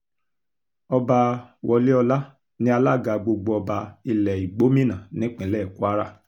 ọba wọléọlá ní alága gbogbo ọba ilẹ̀ igbómìnà nípínlẹ̀ kwara